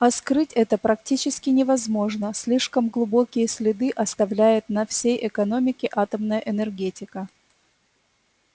а скрыть это практически невозможно слишком глубокие следы оставляет на всей экономике атомная энергетика